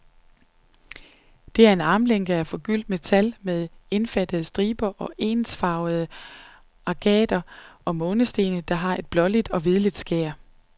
Det er en armlænke af forgyldt metal, med indfattede stribede og ensfarvede agater og månesten, der har et blåligt og hvidligt skær.